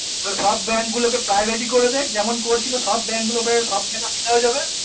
তালে সব গুলোকে bank গুলোকে private করে দেখ যেমন টা করছিলো সব bank গুলোকে সব যাবে